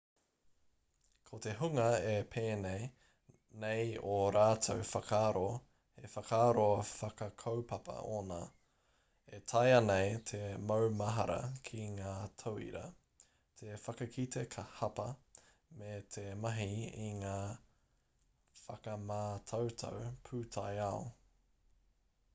ko te hunga e pēnei nei ō rātou whakaaro he whakaaro whakakaupapa ōna e taea nei te maumahara ki ngā tauira te whakatika hapa me te mahi i ngā whakamātautau pūtaiao